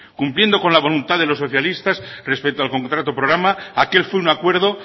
cumpliendo con la voluntad de los socialistas respecto al contrato programa aquel fue un acuerdo